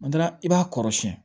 I b'a kɔrɔ siyɛn